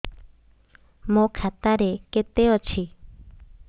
ମୋ ଖାତା ରେ କେତେ ଅଛି